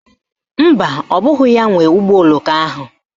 Mba, ọ bụghị ya nwe ụgbọoloko ahụ